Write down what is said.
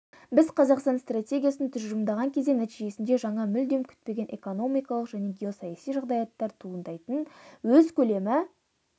біз қазақстан стратегиясын тұжырымдаған кезде нәтижесінде жаңа мүлдем күтпеген экономикалық және геосаяси жағдаяттар туындайтын өз көлемі